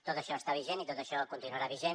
tot això està vigent i tot això continuarà vigent